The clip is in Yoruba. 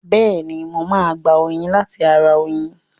Bẹ́ẹ̀ni, mo máa gba oyin láti ara oyin.